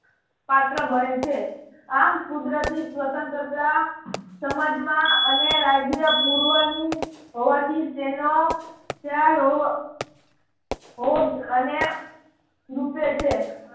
પાત્ર બને છે. આમ કુદરતી સ્વતંત્રતા સમાજમાં અને રાજય પૂર્વની હોવાથી તેનો ખ્યાલ હોવો હોવો અને રૂપે છે.